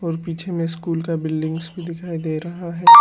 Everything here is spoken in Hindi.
पीछे में स्कूल का बिल्डिंग्स भी दिखाई दे रहा है।